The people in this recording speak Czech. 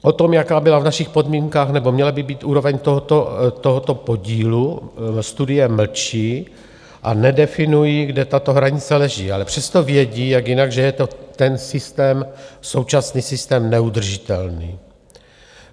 O tom, jaká byla v našich podmínkách, nebo měla by být úroveň tohoto podílu, studie mlčí a nedefinují, kde tato hranice leží, ale přesto vědí, jak jinak, že je to ten systém, současný systém neudržitelný.